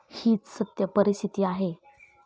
हीच सत्य परिस्थिती आहे.